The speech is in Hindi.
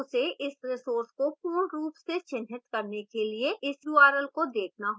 उसे इस resource को पूर्ण रूप से चिह्नित करने के लिए इस url को देखना होगा